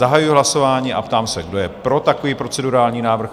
Zahajuji hlasování a ptám se, kdo je pro takový procedurální návrh?